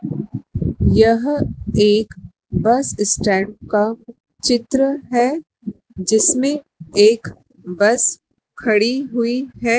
यह एक bus stand का चित्र है जिसमें एक बस खड़ी हुई है।